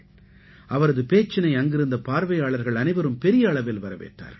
அவரது பேச்சினை அங்கிருந்த பார்வையாளர்கள் அனைவரும் பெரிய அளவில் வரவேற்றார்கள்